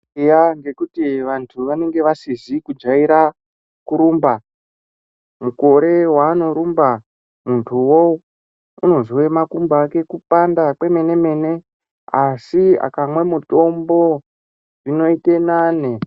Eya ngekuti antu vanenge vasizi kujaira kurumba, mukore waanorumba muntuwo unozwe makumbo ake kupanda kwemene mene asi akamwe mutombo zvinoite nane.